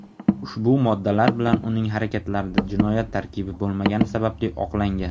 ushbu moddalar bilan uning harakatlarida jinoyat tarkibi bo‘lmagani sababli oqlangan.